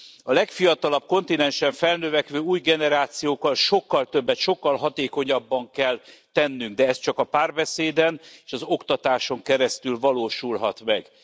A legfiatalabb kontinensen felnövekvő új generációkkal sokkal többet, sokkal hatékonyabban kell tennünk, de ez csak a párbeszéden és az oktatáson keresztül valósulhat meg.